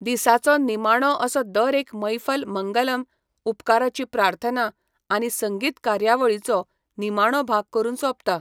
दीसाचो निमाणो असो दर एक मैफल मंगलम, उपकाराची प्रार्थना आनी संगीत कार्यावळीचो निमाणो भाग करून सोंपता.